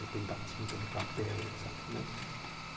Depende da tinta, do papel, et cétera, né?